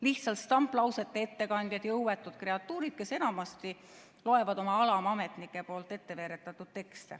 Lihtsalt stamplausete ettekandjad, jõuetud kreatuurid, kes enamasti loevad tekste, mida nende alamametnikud on ette veeretanud.